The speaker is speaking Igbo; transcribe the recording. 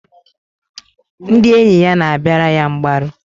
Ndị enyi ya na-abịara ya mgbaru.